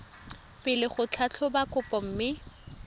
pele go tlhatlhoba kopo mme